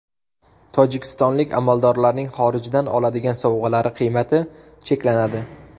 Tojikistonlik amaldorlarning xorijdan oladigan sovg‘alari qiymati cheklanadi.